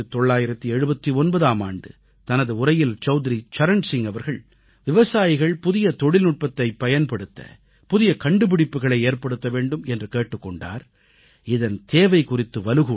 1979ஆம் ஆண்டு தனது உரையில் சவுத்ரி சரண் சிங் அவர்கள் விவசாயிகள் புதிய தொழில்நுட்பத்தைப் பயன்படுத்த புதிய கண்டுபிடிப்புக்களை ஏற்படுத்த வேண்டும் என்று கேட்டுக் கொண்டார் இதன் தேவை குறித்து வலுவூட்டினார்